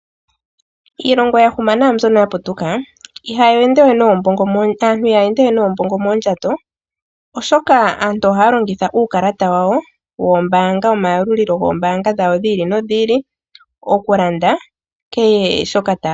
Miilongo mbyoka ya huma naambyoka ya putuka, aantu ihaya ende we noombongo moondjato, oshoka aantu ohaya longitha uukalata wawo womayalulilo goombaanga dhawo dhi ili nokwiili okulanda kehe shoka taya pumbwa.